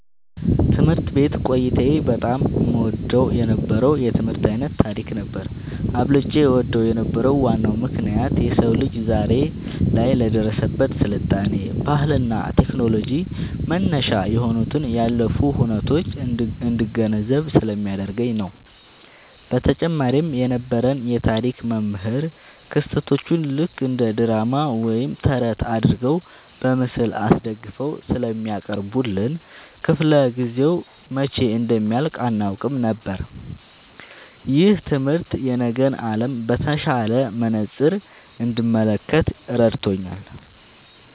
ትምህርት ቤት ቆይታዬ በጣም እወደው የነበረው የትምህርት ዓይነት ታሪክ ነበር። አብልጬ እወደው የነበረበት ዋናው ምክንያት የሰው ልጅ ዛሬ ላይ ለደረሰበት ስልጣኔ፣ ባህልና ቴክኖሎጂ መነሻ የሆኑትን ያለፉ ሁነቶች እንድገነዘብ ስለሚያደርገኝ ነው። በተጨማሪም የነበረን የታሪክ መምህር ክስተቶቹን ልክ እንደ ድራማ ወይም ተረት አድርገው በምስል አስደግፈው ስለሚያቀርቡልን፣ ክፍለ-ጊዜው መቼ እንደሚያልቅ አናውቅም ነበር። ይህ ትምህርት የነገን ዓለም በተሻለ መነጽር እንድመለከት ረድቶኛል።"